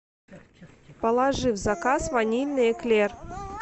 положи в заказ ванильный эклер